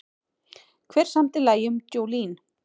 Hver samdi lagið um Jolene?